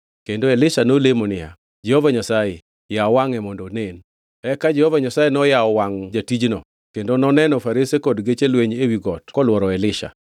Kendo Elisha nolemo niya, “Jehova Nyasaye, yaw wangʼe mondo onen.” Eka Jehova Nyasaye noyawo wangʼ jatijno, kendo noneno farese kod geche lweny ewi got kolworo Elisha.